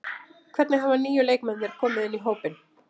Hvernig hafa nýju leikmennirnir komið inn í hópinn?